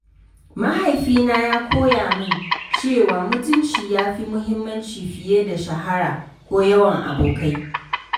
Mahaifina ya koya min cewa mutunci yafi muhimmanci fiye da shahara ko yawan abokai.